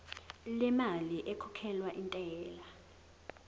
lemali ekhokhelwa intela